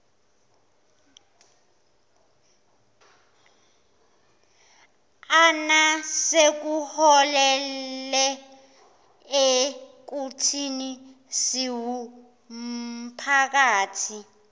sekuholele ekuthini siwumphakathi